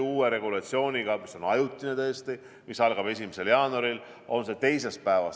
Uue regulatsiooniga, mis on tõesti ajutine, mis algab 1. jaanuaril, on see teisest päevast.